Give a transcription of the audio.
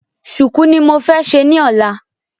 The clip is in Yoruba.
Sùùkú ni mo fẹ́ ṣe ni ọ́la